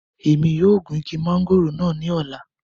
Emi yoo gun igi mangoro naa ni ọla